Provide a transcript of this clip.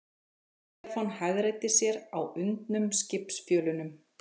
Stefán hagræddi sér á undnum skipsfjölunum.